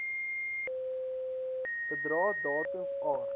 bedrae datums aard